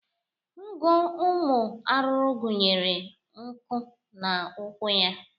Ngụ ụmụ arụrụ gụnyere nku na ụkwụ ha.